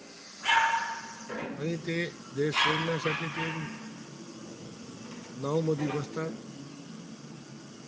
आणि ते देश सोडण्यासाठी ते, नऊमध्ये बसतात,